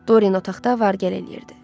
Dorin otaqda var gəl eləyirdi.